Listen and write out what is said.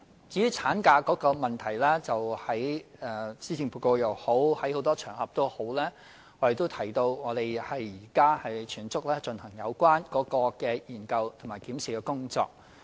至於產假方面，在施政報告和多個場合，我們也提到當局現正全速進行有關的研究和檢視工作。